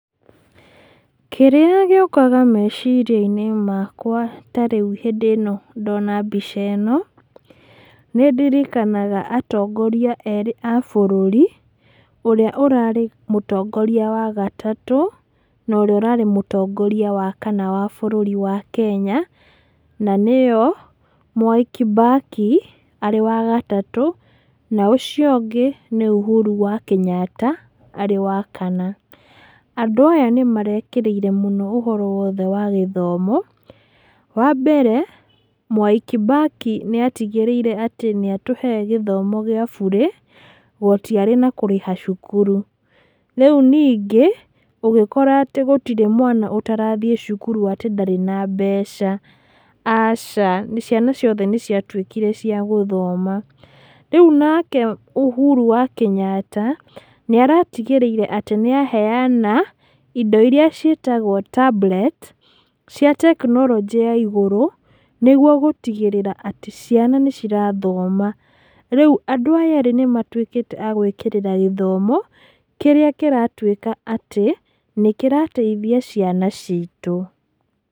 Kĩrĩa gĩũkaga meciria-inĩ makwa rĩrĩa tarĩu hĩndĩ ĩno ndona mbica ĩno, nĩ ndirikanaga atongoria erĩ a bũrũri, ũrĩa ũrarĩ mũtongoria wa gatatũ, na ũrĩa ũrarĩ mũtongoria wakana wa bũrũri wa Kenya, na nĩo Mwai Kibaki, arĩ wa gatatũ, na ũcio ũngĩ nĩ Ũhuru wa Kĩnyatta, arĩ wakana. Andũ aya nĩmarekĩrĩire mũno ũhoro wagĩthomo. Wambere, Mwai Kibaki nĩ atigĩrĩire atĩ nĩ atũhe gĩthomo gĩa bũrĩ, gũtiarĩ na kũrĩha cukuru. Rĩu nĩngĩ, ũgĩkora atĩ gũtirĩ mwana ũtarathiĩ thukuru atĩ gũtirĩ na mbeca. Aca, ciana ciothe nĩ ciatuĩkire ciagũthoma. Rĩu nake Ũhuru wa Kĩnyatta, nĩ aratigĩrĩire atĩ nĩaheyana indo iria ciĩtagwo tablet, cia tekinoronjĩ ya igũrũ, nĩguo gũtigĩrĩra atĩ ciana nĩ cirathoma. Rĩu andũ aya erĩ nĩmatuĩkĩte a gũĩkĩrĩra gĩthomo, kĩrĩa kĩratuĩka atĩ, nĩ kĩrateithia ciana citũ.